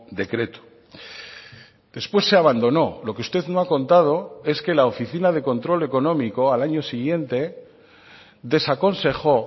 decreto después se abandonó lo que usted no ha contado es que la oficina de control económico al año siguiente desaconsejó